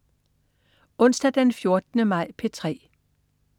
Onsdag den 14. maj - P3: